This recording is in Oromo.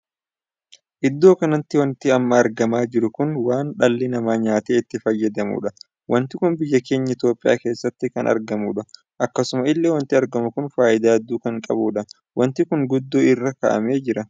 Iddoo kanatti wanti amma argamaa jiru kun waan dhalli namaa nyaataa itti fayyadamuudha. wanti kun biyya keenya Itoophiyaa keessatti kan argamuudha. akkasuma illee wanti argamuu kun faayidaa hedduu kan qabudha. wanti kun gundoo irra kaa'amee jira.